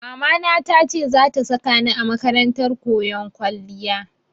Mamana ta ce za ta saka ni a makarantar koyon kwalliya.